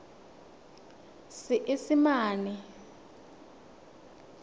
seesimane